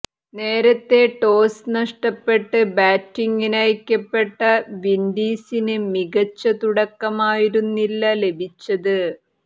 നേരത്തെ ടോസ് നഷ്ടപ്പെട്ട് ബാറ്റിംഗിനയക്കപ്പെട്ട വിന്ഡീസിന് മികച്ച തുടക്കമായിരുന്നില്ല ലഭിച്ചത്